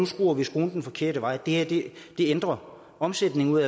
skruer skruen den forkerte vej at det vil ændre omsætningen ude